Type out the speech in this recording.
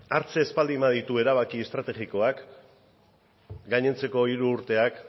hartzen ez baldin baditu erabaki estrategikoak gainontzeko hiru urteak